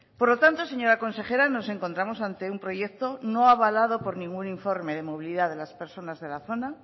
por lo tanto señora consejera nos encontramos ante un proyecto no avalado por ningún informe de movilidad de las personas de la zona